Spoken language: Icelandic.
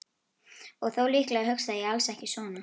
Og þó, líklega hugsaði ég alls ekki svona.